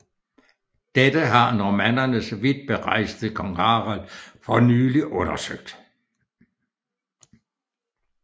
Dette har normannernes vidtberejste konge Harald for nylig undersøgt